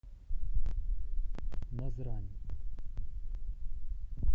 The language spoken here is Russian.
назрань